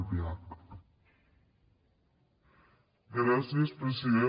gràcies president